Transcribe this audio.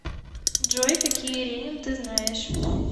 джой какие ренин ты знаешь